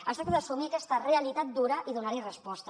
es tracta d’assumir aquesta realitat dura i donar hi resposta